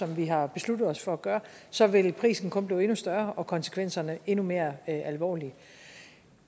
vi har besluttet os for at gøre så vil prisen kun blive endnu større og konsekvenserne endnu mere alvorlige